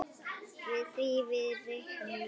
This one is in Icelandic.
Því reiknum við